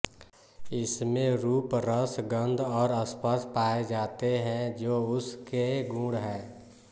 इसमें रूप रस गन्ध और स्पर्श पाये जाते हैं जो उस के गुण हैं